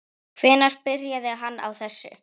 Hvenær byrjaði hann á þessu?